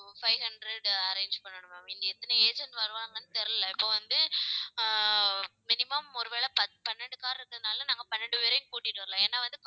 five hundred arrange பண்ணணும் ma'am இங்கே எத்தனை agent வருவாங்கன்னு தெரியலே இப்போ வந்து ஆஹ் minimum ஒருவேளை பத்து பன்னிரண்டு car இருக்கறதுனால நாங்க பன்னெண்டு பேரையும் கூட்டிட்டு வரலாம் ஏன்னா வந்து